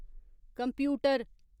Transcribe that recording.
computer